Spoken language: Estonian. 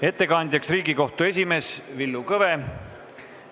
Ettekandja on Riigikohtu esimees Villu Kõve.